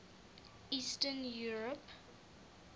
eastern europe